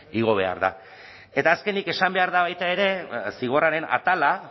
igo behar da eta azkenik esan behar da baita ere zigorraren atala